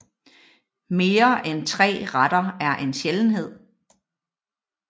Mere end tre retter er en sjældenhed